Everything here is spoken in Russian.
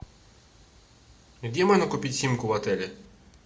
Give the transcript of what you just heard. где можно купить симку в отеле